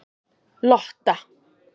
Lotta